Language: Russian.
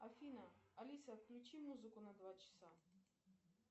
афина алиса включи музыку на два часа